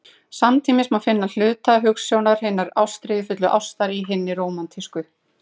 Samtímis má finna hluta hugsjónar hinnar ástríðufullu ástar í hinni rómantísku.